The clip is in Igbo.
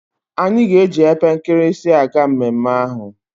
Anyi ga eji epe nkirisi aga mmemme ahu